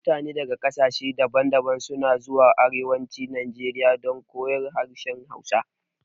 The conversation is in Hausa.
Mutane daga ƙasashe daban daban suna zuwa arewacin najeriya don koyon harshen hausa